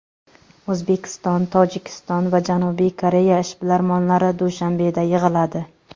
O‘zbekiston, Tojikiston va Janubiy Koreya ishbilarmonlari Dushanbeda yig‘iladi.